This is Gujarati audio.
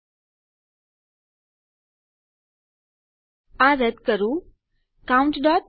ચાલો હું આ રદ કરું countફ્ફ્પ